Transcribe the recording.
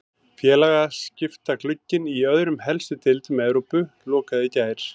Félagaskiptaglugginn í öðrum helstu deildum Evrópu lokaði í gær.